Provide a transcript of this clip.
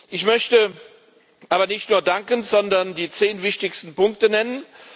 Ich möchte aber nicht nur danken, sondern die zehn wichtigsten Punkte nennen.